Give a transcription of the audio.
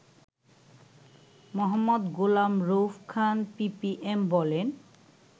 মো. Golam Rauf Khan PPM বলেন